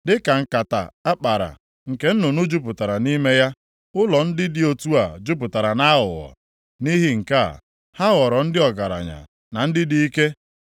Dịka nkata a kpara nke nnụnụ jupụtara nʼime ya, ụlọ ndị dị otu a jupụtara nʼaghụghọ. Nʼihi nke a, ha ghọrọ ndị ọgaranya na ndị dị ike,